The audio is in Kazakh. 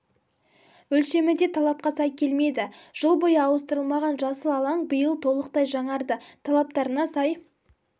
өлшемі де талапқа сай келмеді жыл бойы ауыстырылмаған жасыл алаң биыл толықтай жаңарды талаптарына сай